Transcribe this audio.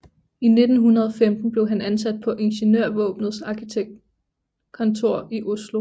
I 1915 blev han ansat på Ingeniørvåpenets arkitektkontor i Oslo